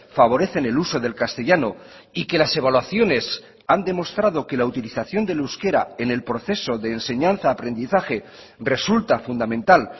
favorecen el uso del castellano y que las evaluaciones han demostrado que la utilización del euskera en el proceso de enseñanza aprendizaje resulta fundamental